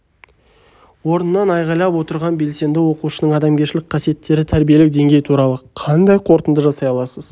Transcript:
орнынан айқайлап отырған белсенді оқушының адамгершілік қасиеттері тәрбиелік деңгейі туралы қандай қорытынды жасай аласыз